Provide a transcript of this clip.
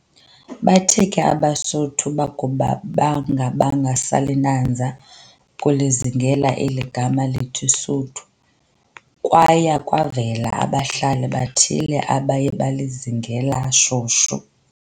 Bathe ke abeSuthu bakuba bengabanga salinanza ukulizingela eli gama lithi "Suthu," kwaya kwavela babhali bathile abaye balizingela shushu.